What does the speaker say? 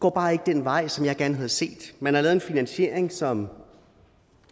går bare ikke den vej som jeg gerne havde set man har lavet en finansiering som